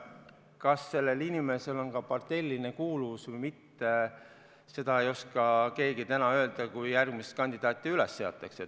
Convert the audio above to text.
Kas sellel inimesel on parteiline kuuluvus või mitte, seda ei oska keegi täna öelda, kuni järgmine kandidaat üles seatakse.